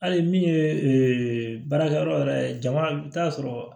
Hali min ye baarakɛyɔrɔ yɛrɛ ye jama i bɛ taa sɔrɔ